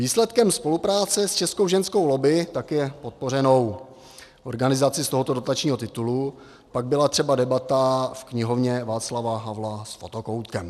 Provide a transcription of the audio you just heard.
Výsledkem spolupráce s Českou ženskou lobby, taky je podpořenou organizací z tohoto dotačního titulu, pak byla třeba debata v Knihovně Václava Havla s fotokoutkem.